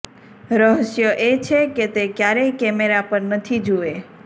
રહસ્ય એ છે કે તે ક્યારેય કૅમેરા પર નથી જુએ